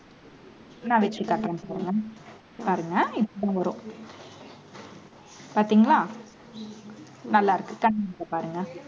நான் வச்சு காட்டுறேன் பாருங்க இப்ப வரும் பார்த்தீங்களா நல்லாருக்கு. கண்ணாடில பாருங்க